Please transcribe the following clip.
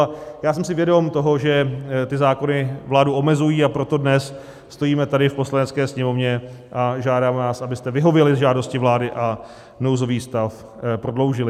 A já jsem si vědom toho, že ty zákony vládu omezují, a proto dnes stojíme tady v Poslanecké sněmovně a žádáme vás, abyste vyhověli žádosti vlády a nouzový stav prodloužili.